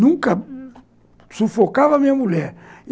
Nunca sufocava a minha mulher.